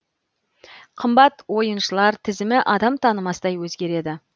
қымбат ойыншылар тізімі адам танымастай өзгереді